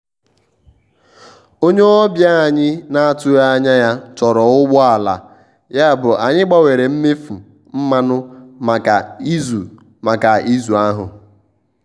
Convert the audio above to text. onye ọbịa anyị na-atụghị anya ya chọrọ ụgbọ ala yabụ anyị gbanwere mmefu mmanụ maka izu maka izu ahụ.